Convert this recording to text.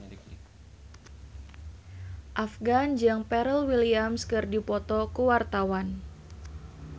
Afgan jeung Pharrell Williams keur dipoto ku wartawan